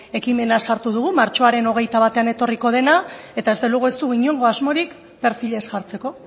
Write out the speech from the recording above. ekimena sartu dugu martxoaren hogeita batan etorriko dena eta desde luego ez dugu inongo asmorik perfilez jartzeko